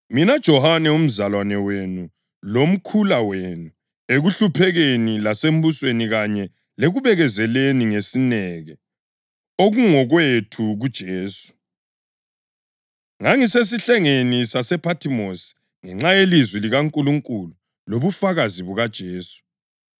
Mina Johane, umzalwane wenu lomkhula wenu ekuhluphekeni lasembusweni kanye lekubekezeleni ngesineke okungokwethu kuJesu, ngangisesihlengeni sasePhathimosi ngenxa yelizwi likaNkulunkulu lobufakazi bukaJesu.